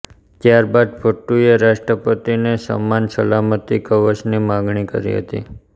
ત્યારબાદ ભુટ્ટોએ રાષ્ટ્રપતિને સમાન સલામતી કવચની માગણી કરી હતી